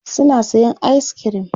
suna sayan ayis kirim